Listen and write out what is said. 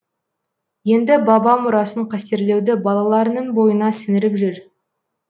енді баба мұрасын қастерлеуді балаларының бойына сіңіріп жүр